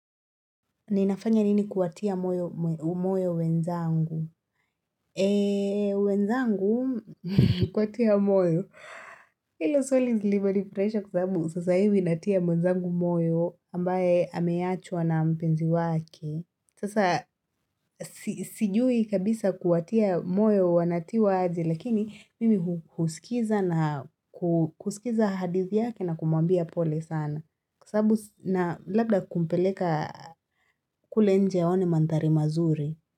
Ninafanya nini kuwatia moyo umoyo wenzangu? Eee, wenzangu kuwatia moyo. Hilo swali lilivyonifurahisha kwa sababu sasa hivi natia mwenzangu moyo ambaye ameachwa na mpenzi wake. Sasa si sijui kabisa kuwatia moyo wanatiwaje lakini mimi hu husikiza na ku kusikiza hadithi yake na kumwambia pole sana. Sababu na labda kumpeleka kule nje aone mandhari mazuri.